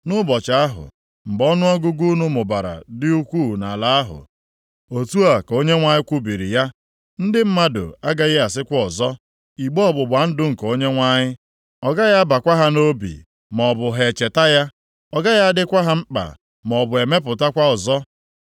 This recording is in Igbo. Nʼụbọchị ahụ, mgbe ọnụọgụgụ unu mụbara dị ukwuu nʼala ahụ,” otu ka Onyenwe anyị kwubiri ya, “ndị mmadụ agaghị asịkwa ọzọ, ‘igbe ọgbụgba ndụ nke Onyenwe anyị.’ Ọ gaghị abakwa ha nʼobi maọbụ ha echeta ya; ọ gaghị adịkwa ha mkpa maọbụ emepụtakwa ọzọ.